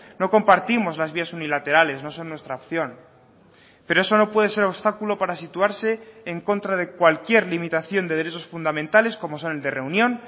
no compartimos las vías unilaterales no son nuestra opción pero eso no puede ser obstáculo para situarse en contra de cualquier limitación de derechos fundamentales como son el de reunión